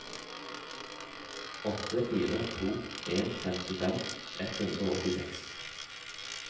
åtte fire to en femtifem ett hundre og åttiseks